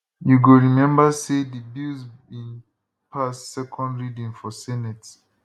you go remember say di bills bin pass second reading for senate